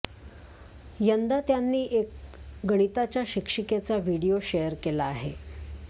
यंदा त्यांनी एक गणिताच्या शिक्षिकेचा व्हिडीओ शेअर केला आहे